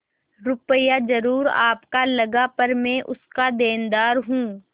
रुपया जरुर आपका लगा पर मैं उसका देनदार हूँ